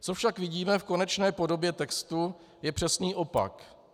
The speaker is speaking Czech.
Co však vidíme v konečné podobě textu, je přesný opak.